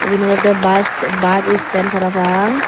eyan olodey bas bas stand parapang.